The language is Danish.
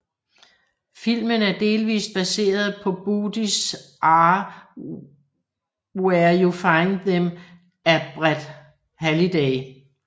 Filmen er delvist baseret på Bodies Are Where You Find Them af Brett Halliday